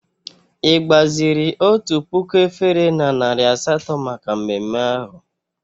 Ị gbaziri otu puku efere na narị asatọ maka mmemme ahụ?